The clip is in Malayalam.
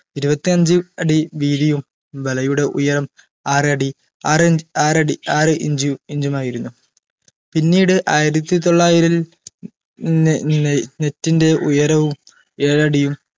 ഇരുപത്തിയഞ്ചു അടി വീതിയും വലയുടെ ഉയരം ആറടി അരയിഞ് ആറടി ആറ് ഇഞ്ചു ഇഞ്ചുമായിരുന്നു പിന്നീട് ആയിരത്തി തൊള്ളായിരിൽ നെ നെ net ന്റെ ഉയരവും ഏഴടിയും